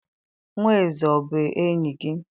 Nwa eze o bu enyi gi?